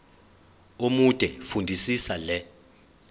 omude fundisisa le